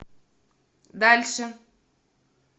дальше